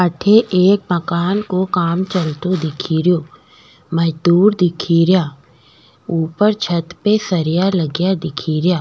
अठे एक मकान को काम चलतो दिखरयो मजदुर दिखेरया उपर छत पे सरिया लगा दिखेरया।